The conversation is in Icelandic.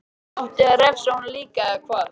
Átti að refsa honum líka, eða hvað?